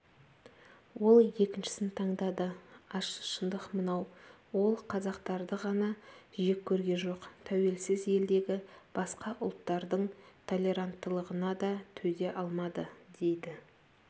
ол екіншісін таңдады ащы шындық мынау ол қазақтарды ғана жек көрген жоқ тәуелсіз елдегі басқа ұлттардың толеранттылығына да төзе алмады дейді